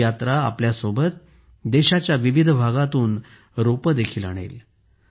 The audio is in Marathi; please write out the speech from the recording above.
ही यात्रा आपल्या सोबत देशाच्या विविध भागातून रोपेही आणेल